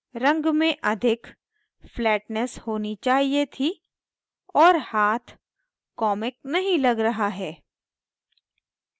रंग में अधिक flatness होनी चाहिए थी और हाथ comic नहीं लग रहा है